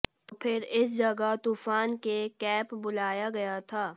तो फिर इस जगह तूफान के केप बुलाया गया था